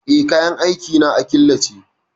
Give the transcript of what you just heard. Eh, kayan aikin na a killace.